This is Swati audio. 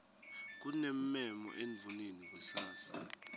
kunemmemo endvuneni kusasa